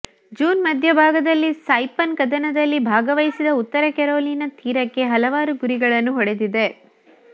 June ಮಧ್ಯಭಾಗದಲ್ಲಿ Saipan ಕದನದಲ್ಲಿ ಭಾಗವಹಿಸಿದ ಉತ್ತರ ಕೆರೊಲಿನಾ ತೀರಕ್ಕೆ ಹಲವಾರು ಗುರಿಗಳನ್ನು ಹೊಡೆದಿದೆ